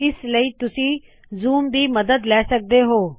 ਇਸ ਲਈ ਤੁਸੀ ਜ਼ੂਮ ਦੀ ਮਦਦ ਲੈ ਸਕਦੇ ਹੋ